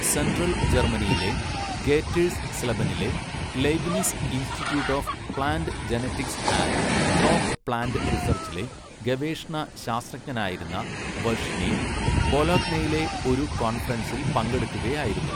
Central ജർമ്മനിയിലെ ഗേറ്റേഴ്സ് സ്ലെബനിലെ Leibniz institute of plant genetics and crop plant റിസർച്ചിലെ ഗവേഷണ ശാസ്ത്രജ്ഞനായിരുന്ന വർഷ്നി ബൊലോഗ്നയിൽ ഒരു കോൺഫറൻസിൽ പങ്കെടുക്കുകയായിരുന്നു.